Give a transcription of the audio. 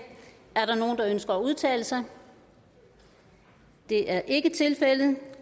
ønsker nogen at udtale sig det er ikke tilfældet